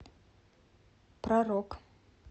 про рок